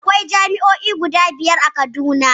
Akwai jami'o'i guda biyar a Kaduna